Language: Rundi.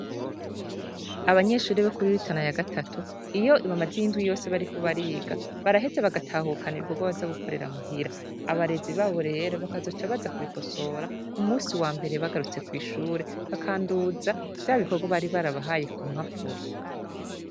Abanyeshure bo kuri rutana ya gatatu iyo bamaze indwi yose bariko bariga baraheza bagatahukana ibikogwa baza gukorera muhira, abarezi babo rero bakazoca baza kubikosora ku musi wambere bagarutse kw'ishure bakanduza vyabikogwa bari barabahaye kumpapuro.